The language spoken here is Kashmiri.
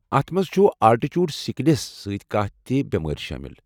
اتھ منٛز چھ آلٹیٹوڈ سکلیس سۭتۍ کانٛہہ تہِ بٮ۪مٲرۍ شٲمِل۔